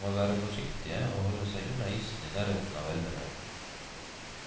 om å være forsiktige og holde seg unna isen i nærheten av elvene.